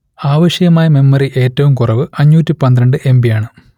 ആവശ്യമായ മെമ്മറി ഏറ്റവും കുറവ് അഞ്ഞൂറ്റി പന്ത്രണ്ട് എം ബി യാണ്